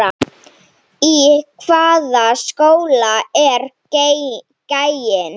Í hvaða skóla er gæinn?